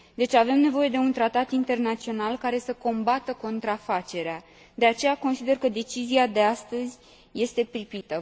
Deci avem nevoie de un tratat internațional, care să combată contrafacerea, de aceea consider că decizia de astăzi este pripită.